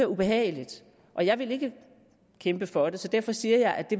ubehageligt og jeg vil ikke kæmpe for det så derfor siger jeg at